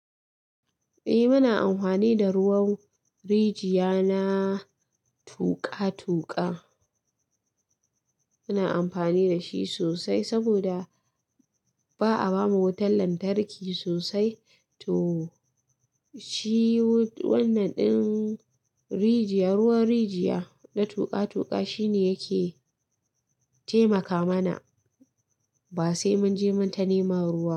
Eh muna amfani da ruwan rijiya na tuƙa-tuƙa. Muna amfani da shi sosai saboda ba a bamu wutan lantarki sosai to shi wannan ɗin rijiya, ruwan rijiya na tuƙa-tuƙa shine yake taimaka mana. Ba sai mun je mun ta neman ruwa.